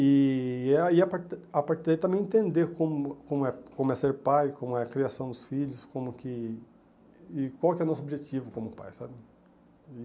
E a e a par a partir daí também entender como como é como é ser pai, como é a criação dos filhos, como que... e qual que é o nosso objetivo como pai, sabe?